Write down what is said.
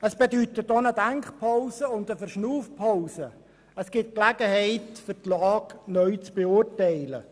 Dies bedeutet auch eine Denk- und Verschnaufpause und bietet Gelegenheit, die Lage neu zu beurteilen.